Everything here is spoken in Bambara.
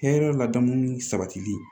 Hɛrɛ ladamu ni sabatili